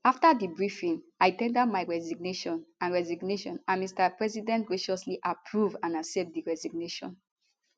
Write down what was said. afta di briefing i ten der my resignation and resignation and mr president graciously approve and accept di resignation